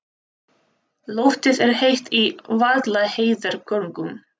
Loftið er heitt í Vaðlaheiðargöngum.